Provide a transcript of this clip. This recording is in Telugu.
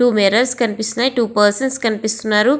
టూ మిర్రర్స్ కనిపిస్తునయీ. టూ పర్సన్స్ కనిపిస్తున్నారు.